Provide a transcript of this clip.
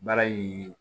Baara in